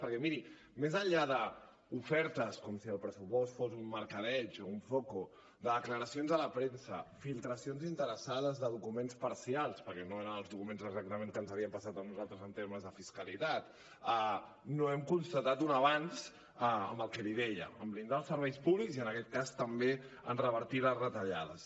perquè miri més enllà d’ofertes com si el pressupost fos un mercadeig un zoco de declaracions a la premsa filtracions interessades de documents parcials perquè no eren els documents exactament que ens havien passat a nosaltres en termes de fiscalitat no hem constatat un avenç en el que li deia en blindar els serveis públics i en aquest cas també en revertir les retallades